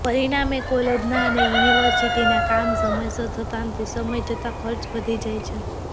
પરિણામે કોલેજના અને યુનિવર્સિટીના કામ સમયસર થતા નથી સમય જતાં ખર્ચ વધી જાય છે